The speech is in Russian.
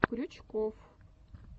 крючков